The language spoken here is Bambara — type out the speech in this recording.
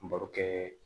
N baro kɛ